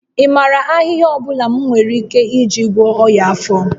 Ị maara ahịhịa ọ bụla m nwere ike iji gwọọ ọnya afọ?